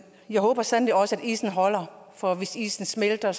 jeg håber sandelig også at isen holder for hvis isen smelter